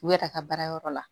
U yɛrɛ ka baarayɔrɔ la